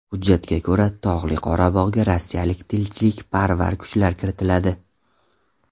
Hujjatga ko‘ra, Tog‘li Qorabog‘ga rossiyalik tinchlikparvar kuchlar kiritiladi.